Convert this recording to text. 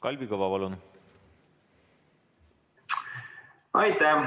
Kalvi Kõva, palun!